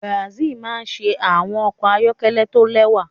Benz maa n ṣe awọn ọkọ ayọkẹlẹ to lẹwa